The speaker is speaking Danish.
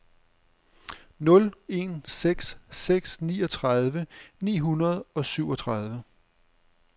nul en seks seks niogtredive ni hundrede og syvogtredive